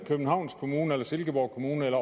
københavns kommune silkeborg kommune eller